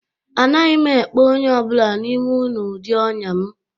Anaghị m ekpe onye ọ bụla n'ime unu ụdị ọnya m